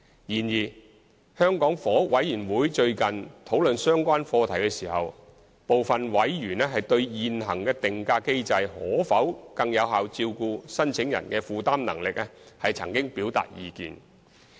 然而，香港房屋委員會最近討論相關課題時，部分委員對現行定價機制可否更有效照顧申請人的負擔能力曾表達意見。